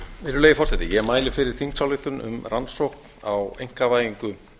virðulegi forseti ég mæli fyrir þingsályktu um rannsókn á einkavæðingu